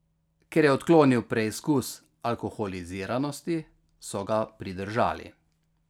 Ker je odklonil preizkus alkoholiziranosti, so ga pridržali.